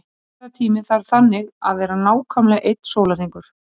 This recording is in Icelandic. Umferðartíminn þarf þannig að vera nákvæmlega einn sólarhringur.